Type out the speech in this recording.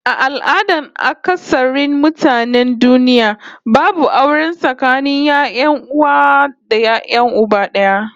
A al'adan akasarin mutanen duniya babu aure tsakanin 'ya'yan uwa d'aya uba d'aya